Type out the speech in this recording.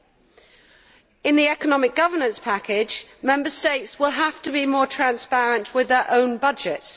Under the economic governance package, Member States will have to be more transparent with their own budgets.